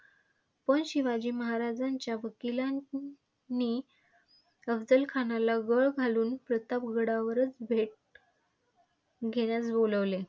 पण शिवाजी महाराजांच्या वकीलांनी अफझलखानाला गळ घालून प्रतापगडावरच भेट घेण्यास बोलाविले.